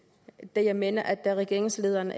da jeg mener at regeringslederen